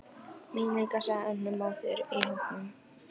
Mín líka, sagði önnur móðir í hópnum.